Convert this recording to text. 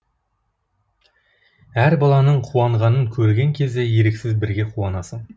әр баланың қуанғанын көрген кезде еріксіз бірге қуанасың